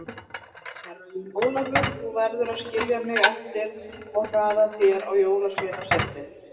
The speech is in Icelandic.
Herra Jón Ólafur, þú verður að skilja mig eftir og hraða þér á Jólasveinasetrið.